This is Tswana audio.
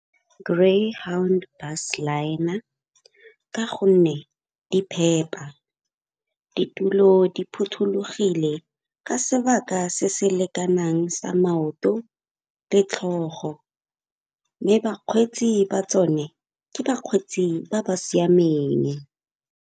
Greyhound Bus Liner ka gonne di phepa, ditulo di phothulogile ka sebaka se se lekanang sa maoto le tlhogo. Mme bakgweetsi ba tsone ke bakgweetsi ba ba siameng.